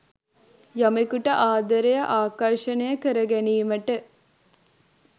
යමෙකුට ආදරය ආකර්ෂණය කර ගැනීමට